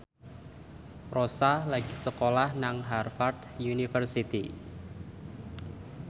Rossa lagi sekolah nang Harvard university